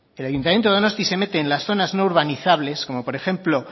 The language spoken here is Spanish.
el ayuntamiento de donosti se mete en las zonas no urbanizables como por ejemplo